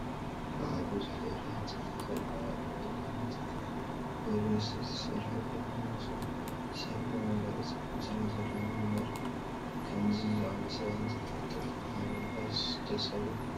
በዓል ብዙሕ ደብሪ ህንፃታት ይርአዩ ኣለዉ፡፡ እዞም ህንፃታት ብሪል ስቴት ዝስርሑ እዮም ዝመስሉ፡፡ ሰብ ናይ መንበሪ ፀገም ስለዘለዎ እምበር ኣብ ከምዚ ዝኣምሰለ ህንፃ ተንጠልጢልካ ምንባርስ ደስ ኣይብልን፡፡